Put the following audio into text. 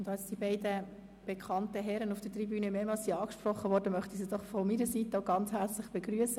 Da die beiden bekannten Herren auf der Tribüne mehrmals angesprochen worden sind, möchte ich sie auch von meiner Seite ganz herzlich begrüssen.